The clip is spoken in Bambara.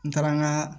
N taara n ka